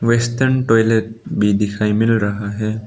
Western toilet भी दिखाई मिल रहा है।